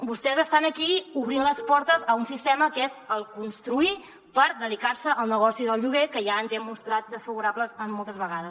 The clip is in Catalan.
vostès estan aquí obrint les portes a un sistema que és construir per dedicar se al negoci del lloguer que ja ens hi hem mostrat desfavorables moltes vegades